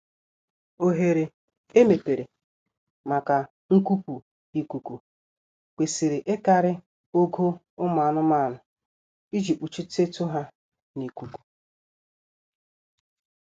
Oghere emepere maka nkupu ikuku kwesịrị ịkarị ogo ụmụ anụmanụ iji kpuchitetu ha n'ikuku